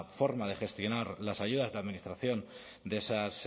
forma de gestionar las ayudas de administración de esas